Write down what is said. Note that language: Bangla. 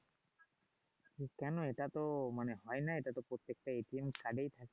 কেনো এটা তো মানে হয় না এটাতো প্রত্যেকটা এ ই থাকে